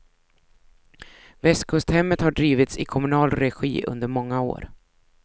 Västkusthemmet har drivits i kommunal regi under många år.